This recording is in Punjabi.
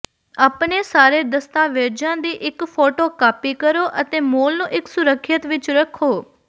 ਆਪਣੇ ਸਾਰੇ ਦਸਤਾਵੇਜ਼ਾਂ ਦੀ ਇੱਕ ਫੋਟੋਕਾਪੀ ਕਰੋ ਅਤੇ ਮੂਲ ਨੂੰ ਇੱਕ ਸੁਰੱਖਿਅਤ ਵਿੱਚ ਰੱਖੋ